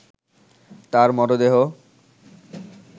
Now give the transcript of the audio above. তার মরদেহ